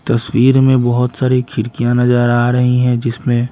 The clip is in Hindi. तस्वीर में बहुत सारी खिरकियाँ नजर आ रही हैं जिसमें--